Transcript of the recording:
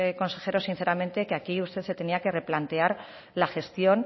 consejero sinceramente que aquí usted se tenía replantear la gestión